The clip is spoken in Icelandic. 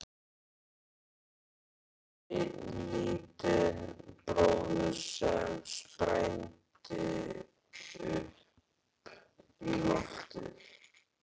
Bara kannski einn lítinn bróður sem sprændi upp í loftið.